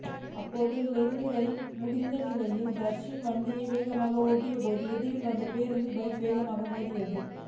அப்போது லொறியை முந்த நினைத்து தர்ஷன் வண்டியை வேகமாக ஓட்டிய போது எதிரில் வந்த பேருந்தில் பைக் வேகமாக மோதியது